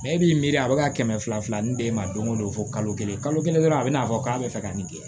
e b'i miiri a bɛ ka kɛmɛ fila fila min d'e ma don o don fo kalo kelen kalo kelen dɔrɔn a bɛn'a fɔ k'a bɛ fɛ ka nin kɛ